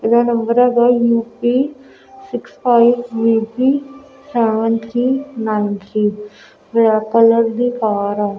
ਇਹਦਾ ਨੰਬਰ ਹੈਗਾ U P six five V P seven three nine three black colour ਦੀ ਕਾਰ ਆ।